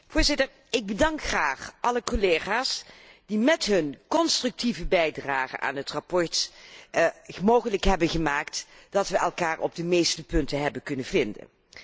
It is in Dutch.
Voorzitter, ik bedank graag alle collega's die het met hun constructieve bijdrage aan het verslag mogelijk hebben gemaakt dat wij elkaar op de meeste punten hebben kunnen vinden.